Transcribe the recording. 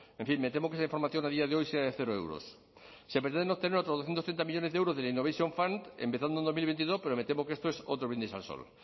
en fin me temo que esa información a día de hoy sea de cero euros se pretenden obtener otros doscientos ochenta millónes de euros del innovation fund empezando en dos mil veintidós pero me temo que esto es otro brindis al sol